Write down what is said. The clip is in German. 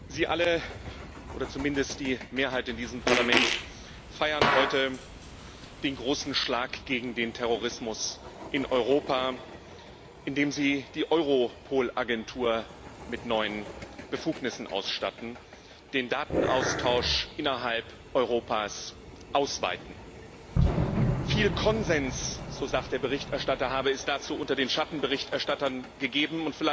Sie alle oder zumindest die Mehrheit in diesem Parlament feiern heute den großen Schlag gegen den Terrorismus in Europa, indem sie die Agentur Europol mit neuen Befugnissen ausstatten, den Datenaustausch innerhalb Europas ausweiten. Viel Konsens so sagt der Berichterstatter habe es dazu unter den Schattenberichterstattern gegeben.